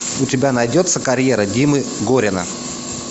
у тебя найдется карьера димы горина